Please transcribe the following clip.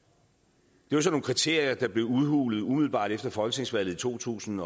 det var sådan nogle kriterier der blev udhulet umiddelbart efter folketingsvalget i to tusind